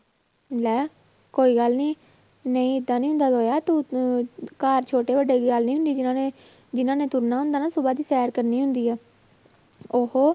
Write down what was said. ਲੈ ਕੋਈ ਗੱਲ ਨੀ ਨਹੀਂ ਏਦਾਂ ਨੀ ਹੁੰਦਾ ਗਾ ਯਾਰ ਤੂੰ ਅਹ ਘਰ ਛੋਟੇ ਵੱਡੇ ਦੀ ਗੱਲ ਨੀ ਹੁੰਦੀ, ਜਿਹਨਾਂ ਨੇ ਜਿਹਨਾਂ ਨੇ ਤੁਰਨਾ ਹੁੰਦਾ ਨਾ ਸੁਭਾ ਦੀ ਸ਼ੈਰ ਕਰਨੀ ਹੁੰਦੀ ਆ ਉਹ